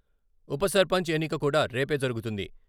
ఉపసర్పంచ్ ఎన్నిక కూడా రేపే జరుగుతుంది.